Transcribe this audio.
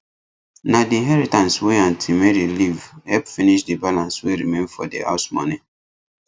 na the inheritance wey aunty mary leave help finish the balance wey remain for the house money